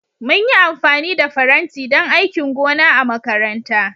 Mun yi amfani da faranti don aikin gona a makaranta